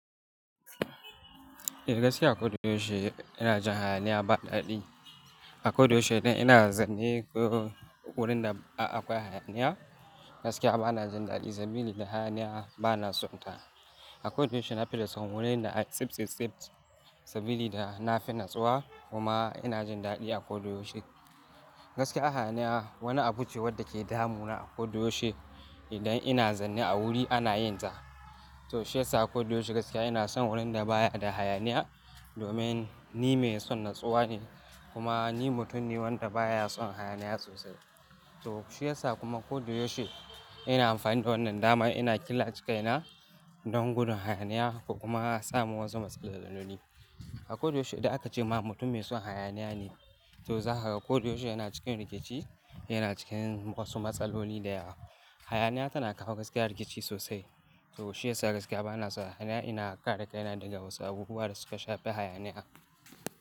Eh gaskiya a koyaushe ina jin hayaniya ba daɗi. A koyaushe ina zaune ko wurin da akwai hayaniya gaskiya ba na jin daɗi saboda hayaniya ba na sonta. A koyaushe na fi son wurin da tsit-tsit sabili ina fi natsuwa kuma ina jin daɗi a koyaushe. Gaskiya hayaniya wani abu ce wadda ke damu na a koyaushe idan ina zane a wuri ana yin ta. To shi yasa a koyaushe gaskiya ina son wurin da ba ya da hayaniya domin ni mai son natsuwa ne kuma ni mutum ne wanda baya son hayaniya sosai. To shi yasa kuma kodayaushe ina amfani da wannan damar ina killace kaina don gudun hayaniya kuma sa mu wasu matsaloli. A koyaushe idan aka ce ma mutum mai son hayaniya ne, to za ka ga koyaushe yana cikin rikici, yana cikin wasu matsaloli da yawa. Hayaniya tana kawo gaskiya rikici sosai. To shi yasa gaskiya ba na son hayaniya, ina kare kaina daga wasu abubuwa da suka shafi hayaniya.